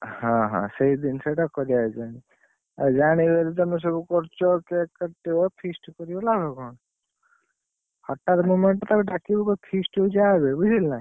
ହଁ ହଁ, ସେ ଜିନିଷ ଟା କରିବା ଯେମିତି ଆଉ ଜାଣିଗଲେ ତମେ ସବୁ କରୁଛ cake କାଟିବ feast କରିବା ଲାଭ କଣ? ହଠାତ୍ moment ତାକୁ ଡାକିବୁ କହିବୁ feast ହଉଛି ଆବେ ବୁଝିଲୁ ନା।